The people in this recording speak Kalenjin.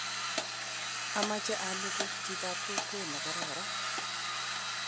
ameche aleku chitab kokwet ne kararan